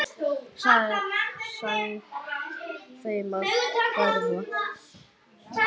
Sagt þeim að hverfa.